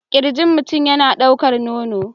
Kirjin mutum yana ɗaukar nono